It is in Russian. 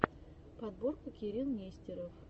подборка кирилл нестеров